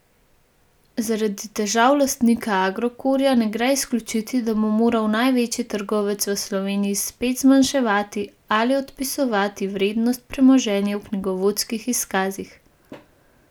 Zaradi težav lastnika Agrokorja ne gre izključiti, da bo moral največji trgovec v Sloveniji spet zmanjševati ali odpisovati vrednost premoženja v knjigovodskih izkazih.